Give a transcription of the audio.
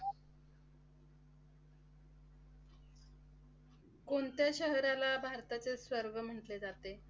कोणत्या शहराला भारताचे स्वर्ग म्हंटले जाते?